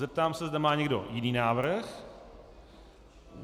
Zeptám se, zda má někdo jiný návrh.